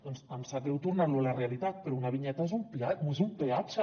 doncs em sap greu tornar lo a la realitat però una vinyeta és un peatge